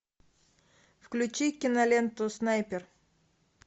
включи киноленту снайпер